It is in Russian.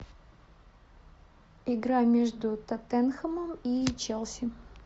игра между тоттенхэмом и челси